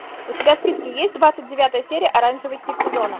у тебя в списке есть двадцать девятая серия оранжевый хит сезона